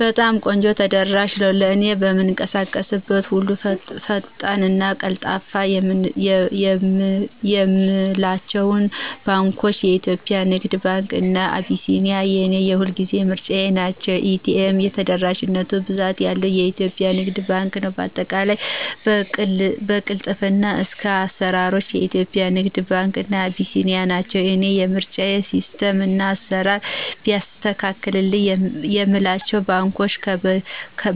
በጣም ቆንጆ ተደራሽ ነው። ለእኔ በምንቀሳቀስበት ሁሉ ፈጣን እና ቀልጣፋ የምላቸው ባንኳች :- ኢትዮጵያ ንግድ ባንክ እና አቢሲኒያ የኔ የሁልጊዜ ምርጫዎቸ ናቸው። ኤ.ቴ.ም ተደራሽነቱ ብዛት ያለው ኢትዮጵያ ንግድ ባንክ ነው በአጠቃላይ ከቅልጥፍና እስከ አስራሮች ኢትዮጵያ ንግድ ባንክ እና አቢሲኒያ ናቸው የኔ ምርጫ። ሲስተም እና አስራር ቢያስተካክል የምላቸው ባንኮች